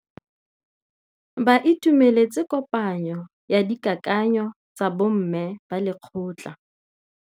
Ba itumeletse kôpanyo ya dikakanyô tsa bo mme ba lekgotla.